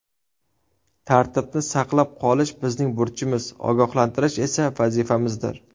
Tartibni saqlab qolish bizning burchimiz, ogohlantirish esa vazifamizdir.